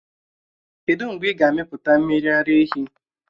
Kedụ mgbe ị ga-amịpụta mmiri ara ehi?